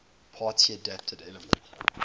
party adapted elements